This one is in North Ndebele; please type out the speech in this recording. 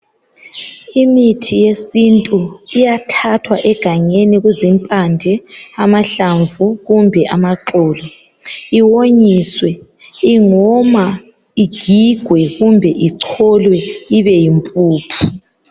Imithi yesintu iyathathwa egangeni kuzimpande, amahlamvu kumbe amaxolo iwonyiswe ingoma igigwe kumbe icholwe ibe yimpuphu.